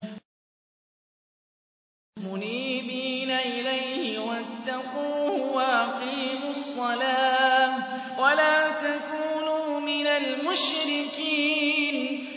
۞ مُنِيبِينَ إِلَيْهِ وَاتَّقُوهُ وَأَقِيمُوا الصَّلَاةَ وَلَا تَكُونُوا مِنَ الْمُشْرِكِينَ